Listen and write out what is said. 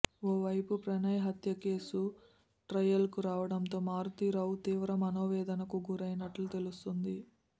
ఓ వైపు ప్రణయ్ హత్యకేసు ట్రయల్కు రావడంతో మారుతీరావు తీవ్ర మనోవేదనకు గురైనట్లు తెలుస్తోంది